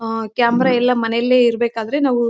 ಹಾ ಕ್ಯಾಮೆರಾ ಎಲ್ಲ ಮನೇಲೆ ಇರಬೇಕಾದ್ರೆ ನಾವು--